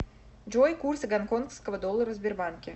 джой курсы гонконгского доллара в сбербанке